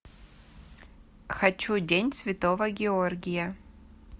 хочу день святого георгия